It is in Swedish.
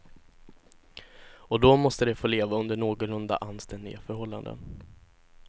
Och då måste de få leva under någorlunda anständiga förhållanden.